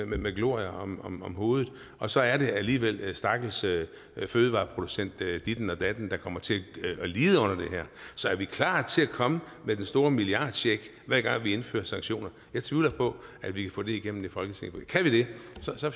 med glorie om om hovedet og så er det alligevel stakkels fødevareproducent dit eller dat der kommer til at lide under det her så er vi klar til at komme med den store milliardcheck hver gang vi indfører sanktioner jeg tvivler på at vi kan få det igennem i folketinget men kan vi det